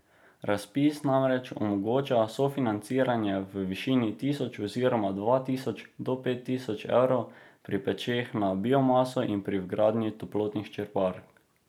Razpis namreč omogoča sofinanciranje v višini tisoč oziroma dva tisoč do pet tisoč evrov pri pečeh na biomaso in pri vgradnji toplotnih črpalk.